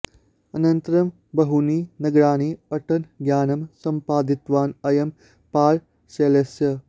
अनन्तरं बहूनि नगराणि अटन् ज्ञानं सम्पादितवान् अयं पारसेल्सस्